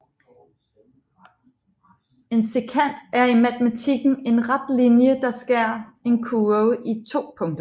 En sekant er i matematikken en ret linje der skærer en kurve i to punkter